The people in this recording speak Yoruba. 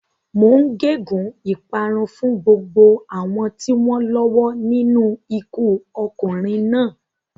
Mò ń gégùn ún ìparun fún gbogbo àwọn tí wọ́n lọ́wọ́ nínú ikú ọkùnrin náà.